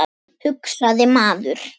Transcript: hugsaði maður.